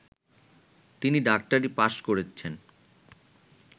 তিনি ডাক্তারি পাশ্ করেছিলেন